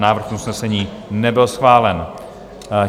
Návrh usnesení nebyl schválen.